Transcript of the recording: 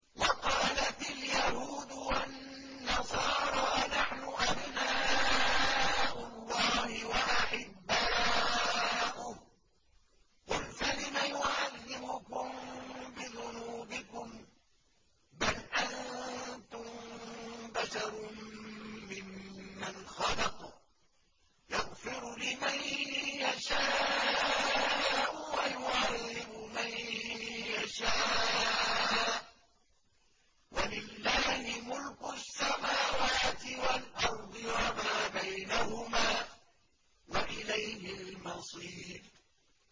وَقَالَتِ الْيَهُودُ وَالنَّصَارَىٰ نَحْنُ أَبْنَاءُ اللَّهِ وَأَحِبَّاؤُهُ ۚ قُلْ فَلِمَ يُعَذِّبُكُم بِذُنُوبِكُم ۖ بَلْ أَنتُم بَشَرٌ مِّمَّنْ خَلَقَ ۚ يَغْفِرُ لِمَن يَشَاءُ وَيُعَذِّبُ مَن يَشَاءُ ۚ وَلِلَّهِ مُلْكُ السَّمَاوَاتِ وَالْأَرْضِ وَمَا بَيْنَهُمَا ۖ وَإِلَيْهِ الْمَصِيرُ